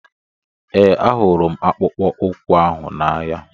Ee, ahụrụ m akpụkpọ ụkwụ ahụ n'anya.